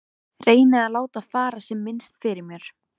Reyni að láta fara sem minnst fyrir mér.